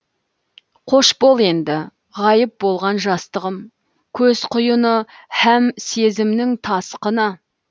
қош бол енді ғайып болған жастығым көз құйыны һәм сезімнің тасқыны